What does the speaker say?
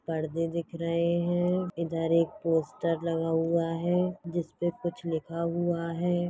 पर्दे दिख रहे है इधर एक पोस्टर लगा हुवा है जिस पर कुछ लिखा हुवा है।